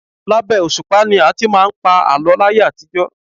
Labẹ́ òṣùpá ni a ti máà ń pa àlọ́ láyé àtijọ́.